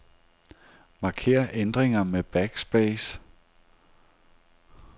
Marker ændringer med backspace.